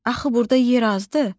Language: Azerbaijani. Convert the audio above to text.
Axı burda yer azdı?